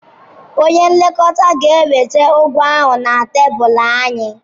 Onye nlekọta ga-eweta ụgwọ ahụ na tebụl anyị.